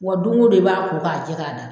Wa don o don i b'a ko k'a jɛ k'a da